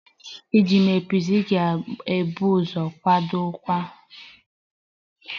Iji mee piza, ị ga-ebu ụzọ kwadebe mgwakota agwa